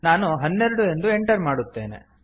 ನಾನು ಹನ್ನೆರಡು ಎಂದು ಎಂಟರ್ ಮಾಡುತ್ತೇನೆ